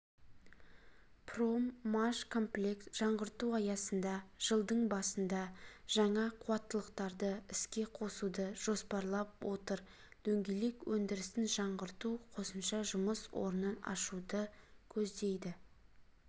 проммашкомплект жаңғырту аясында жылдың басында жаңа қуаттылықтарды іске қосуды жоспарлап отыр дөңгелек өндірісін жаңғырту қосымша жұмыс орнын ашуды көздейді